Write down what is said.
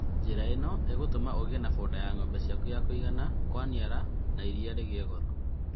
Njĩra ĩno ĩgũtũma ũiganie foda ya ng'ombe ciaku nginya kwaniara na iria rĩa rĩgĩe goro